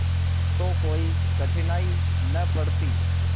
तो कोई कठिनाई न पड़ती